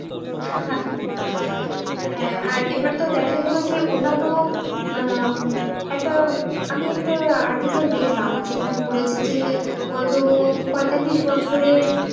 হ্যাঁ হ্যাঁ আর এবার তো দেখা গেল যে আর অন্যান্য উম একটা আমি একটা article দেখলাম যেখানে বলেছে যে গত পঁয়তাল্লিশ বছরের,